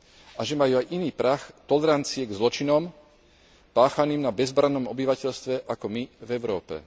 a že majú aj iný prah tolerancie k zločinom páchaným na bezbrannom obyvateľstve ako my v Európe.